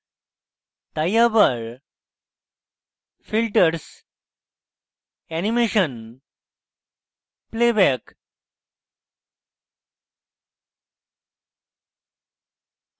তাই আবার filters animation playback